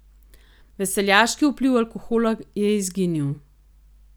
Veseljaški vpliv alkohola je izginil.